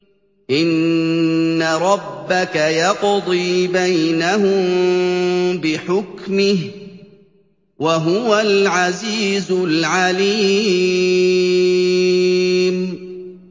إِنَّ رَبَّكَ يَقْضِي بَيْنَهُم بِحُكْمِهِ ۚ وَهُوَ الْعَزِيزُ الْعَلِيمُ